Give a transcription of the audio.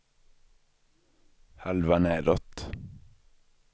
halva nedåt